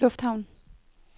lufthavn